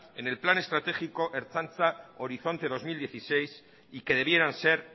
en el plan estratégico ertzaintza horizonte dos mil dieciséis y que debieran ser